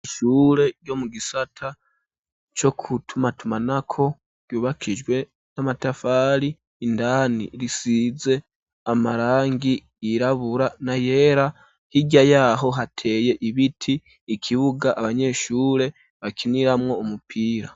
Isshure yo mu gisata co kutumatumanako yubakijwe n'amatafari indani risize amarangi yirabura na yera hirya yaho hateye ibiti ikibuga abanyeshure bakiniramwo umupira.